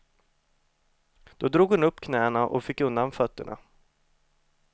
Då drog hon upp knäna och fick undan fötterna.